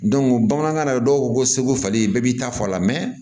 bamanankan na dɔw ko ko seko falen bɛɛ b'i ta fɔ a la